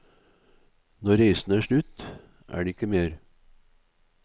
Når reisen er slutt, er det ikke mer.